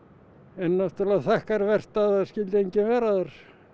en náttúrulega þakkarvert að það skyldi enginn vera þar